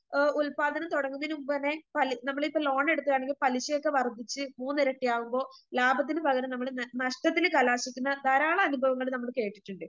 ഓ ഉൽപ്പാദനം തുടങ്ങുന്നതിനുമുൻപുതന്നെ പലി നമ്മളിപ്പോ ലോണെടുത്തതാണെങ്കിൽ പലിശയൊക്കെ വർദ്ധിച്ച് മൂന്നിരട്ടിയാകുമ്പോ ലാഭത്തിന് പകരം നമ്മള് നഷ്ട്ടത്തില് കലാശിക്കുന്ന ധാരാളം അനുഭവങ്ങള് നമ്മള് കേട്ടിട്ടിണ്ട്